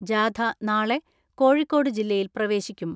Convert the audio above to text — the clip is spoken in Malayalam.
ജാഥ നാളെ കോഴിക്കോട് ജില്ലയിൽ പ്രവേശിക്കും.